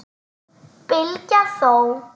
Bylgja þó!